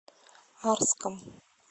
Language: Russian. арском